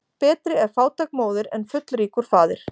Betri er fátæk móðir en fullríkur faðir.